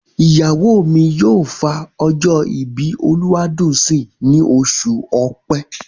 Ìyàwó mi yóò fa ọjọ́ ìbí Olúwadùnńsìn ní oṣù Ọ̀pẹ.